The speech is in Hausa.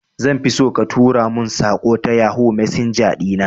Zanfi so ka tura mun saƙo ta yohoo messenger ɗina